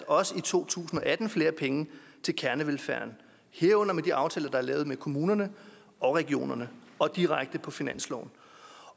også i to tusind og atten afsat flere penge til kernevelfærden herunder med de aftaler der er lavet med kommunerne og regionerne og direkte på finansloven